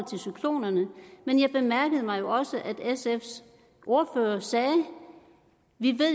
til cyklonerne men jeg bemærkede også at sfs ordfører sagde at vi